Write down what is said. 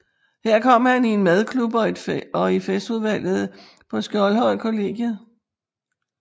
Her kom han i en madklub og i festudvalget på Skjoldhøjkollegiet